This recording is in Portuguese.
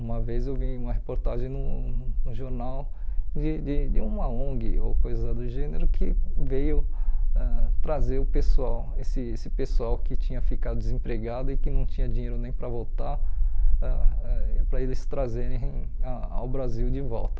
Uma vez eu vi uma reportagem no no jornal de de de uma ONG ou coisa do gênero que veio ãh trazer o pessoal, esse esse pessoal que tinha ficado desempregado e que não tinha dinheiro nem para voltar, ãh para eles trazerem a ao Brasil de volta.